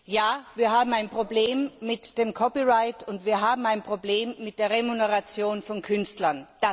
Ja, wir haben ein Problem mit dem Copyright, und wir haben ein Problem mit der Remuneration von Künstlern.